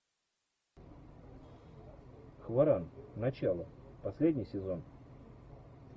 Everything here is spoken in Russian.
хваран начало последний сезон